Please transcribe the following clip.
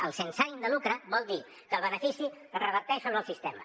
el sense ànim de lucre vol dir que el benefici reverteix sobre el sistema